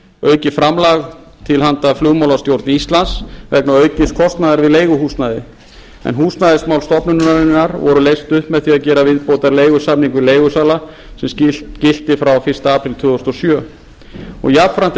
aukið framlag til handa flugmálastjórn íslands vegna aukins kostnaðar við leiguhúsnæði en húsnæðismál stofnunarinnar voru leyst upp með því að gera viðbótarleigusamning við leigusala sem gilti frá fyrsta apríl tvö þúsund og sjö jafnframt er